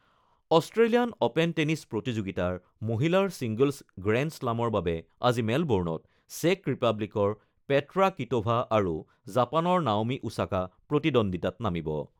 Australian open tennis প্ৰতিযোগিতাৰ মহিলাৰ singles গ্ৰেণ্ডশ্লামৰ বাবে আজি মেলবৰ্ণত চেক ৰিপাব্লিকৰ পেট্ৰা কিট'ভা আৰু জাপানৰ নাওমি ওছাকা প্ৰতিদ্বন্দিতাত নামিব।